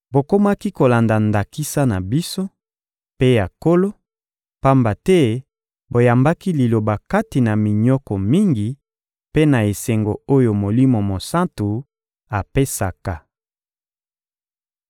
Bokomaki kolanda ndakisa na biso mpe ya Nkolo, pamba te boyambaki Liloba kati na minyoko mingi mpe na esengo oyo Molimo Mosantu apesaka.